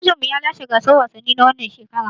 Ajinmu ya lashe gasar wasannin ta wannan shekarar.